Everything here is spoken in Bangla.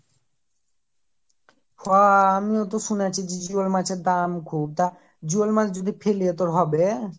হহহঃ আমিওতো শুনেছি যে জিওল মাছের দাম খুব তা জিওল মাছ যদি ফেলি তোর হবে